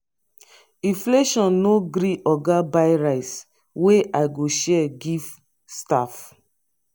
Inflation no gree oga buy rice wey i go share give staff